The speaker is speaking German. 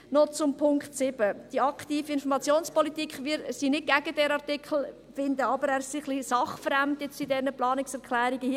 Noch zum Punkt 7 zur aktiven Informationspolitik: Wir sind nicht gegen diesen Artikel, finden aber, er sei in diesen Planungserklärungen etwas sachfremd.